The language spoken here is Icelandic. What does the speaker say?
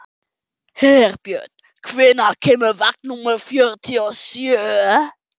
Herbjörn, hvenær kemur vagn númer fjörutíu og sjö?